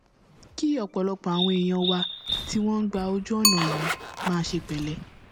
kí ọpọlọpọ àwọn èèyàn wa tí wọn ń gba ojú ọnà yìí máa ṣe pẹlẹ